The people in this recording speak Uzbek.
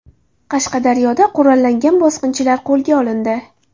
Qashqadaryoda qurollangan bosqinchilar qo‘lga olindi.